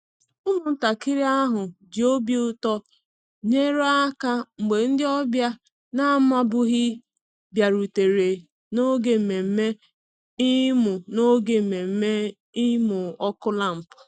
Ụmụntakịrị ahụ ji obi ụtọ nyere aka mgbe ndị ọbịa na-amabughị bịarutere n'oge nmenme imu n'oge nmenme imu ọkụ lampụ